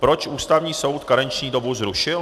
Proč Ústavní soud karenční dobu zrušil?